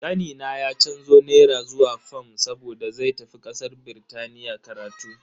Kanina ya canzo naira zuwa fam saboda zai tafi kasar Birtaniya karatu.